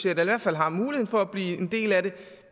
eller i hvert fald har muligheden for at blive en del af det